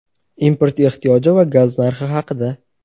import ehtiyoji va gaz narxi haqida.